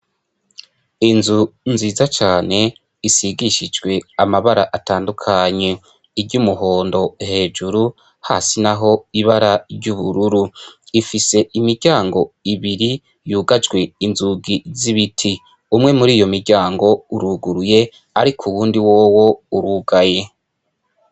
Inzu nziza cane isigishijwe amabara atandukanye, iry' umuhondo hejuru hasi naho ibara ry' ubururu, ifise imiryango ibiri yugajwe inzugi z' ibiti, umwe muri iyo miryango uruguruye ariko uwundi wowo uruguruye.